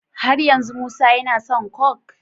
Har yanzu musa yAna son coke?